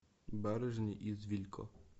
барышни из вилько